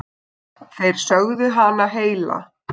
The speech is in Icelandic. Þeir sögðu hana heila.